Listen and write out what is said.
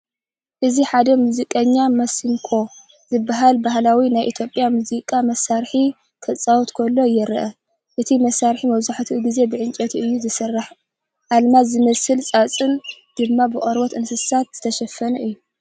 እዚ ሓደ ሙዚቀኛ ማሲንኮ ዝብሃል ባህላዊ ናይ ኢትዮጵያ ሙዚቃ መሳርሒ ኺጻወት ከሎ የርኢ። እቲ መሳርሒ መብዛሕትኡ ግዜ ብዕንጨይቲ እዩ ዝስራሕ ኣልማዝ ዝመስል ሳፅን ድማ ብቆርበት እንስሳታት እተሸፈነ እዩ።